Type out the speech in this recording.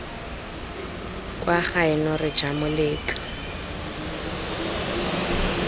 kwa gaeno re ja moletlo